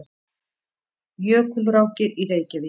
Jökulrákir í Reykjavík.